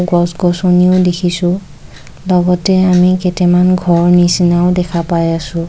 গছ গছনিও দেখিছোঁ লগতে আমি কেইটামান ঘৰ নিছিনাও দেখা পাই আছোঁ।